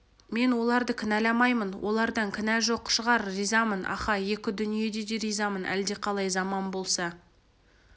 мен оларды кінәламаймын олардан кінә жоқ шығар ризамын аха екі дүниеде де ризамын әлдеқалай заман болса